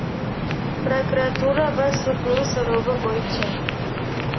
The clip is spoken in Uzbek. prokuratura va sudning so‘rovi bo‘yicha;.